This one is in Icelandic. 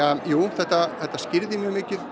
þetta þetta skýrir mjög mikið